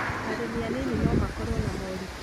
Arĩmi anini no makorũo na moritũ